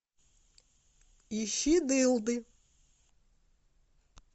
ищи дылды